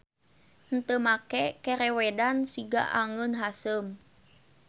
Henteu make kerewedan siga angeun haseum.